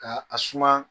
Ka a suma